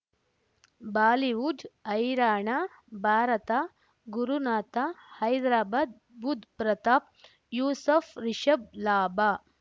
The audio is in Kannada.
ಬಾಲಿವುಡ್ ಹೈರಾಣ ಭಾರತ ಗುರುನಾಥ ಹೈದ್ರಾಬಾದ್ ಬುಧ್ ಪ್ರತಾಪ್ ಯೂಸಫ್ ರಿಷಬ್ ಲಾಭ